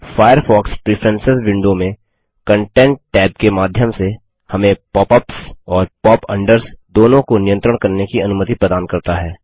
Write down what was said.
Firefox preference window में content tab content tab के माध्यम से हमें pop अप्स और pop अंडर्स दोनों को नियंत्रण करने की अनुमति प्रदान करता है